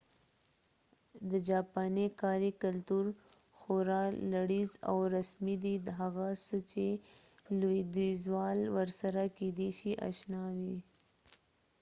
د جاپاني کاري کلتور خورا لړيز او رسمي دی هغه څه چې لویدیځوال ورسره کيدې شي اشنا وي